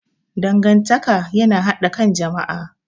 Dangantaka yana haɗa ƙan jama'a.